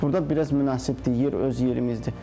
Burda biraz münasibdir, yer öz yerimizdir.